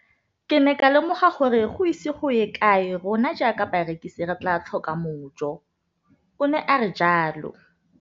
Ke ne ka lemoga gore go ise go ye kae rona jaaka barekise re tla tlhoka mojo, o ne a re jalo.